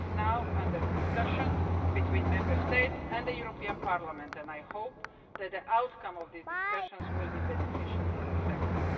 It is now under discussion between Member States and Parliament, and I hope that the outcome of these discussions will be beneficial for the sector.